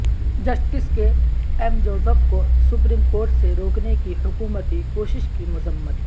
justice K M Joseph کو supreme court سے روکنے کی حکومتی کوشش کی مذمت